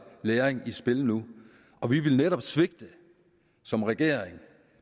læring i spil nu og vi ville netop svigte som regering